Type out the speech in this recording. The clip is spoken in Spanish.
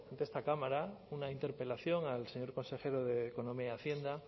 ante esta cámara una interpelación al señor consejero de economía y hacienda al